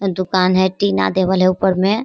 अ दूकान है टीना देवल है ऊपर में।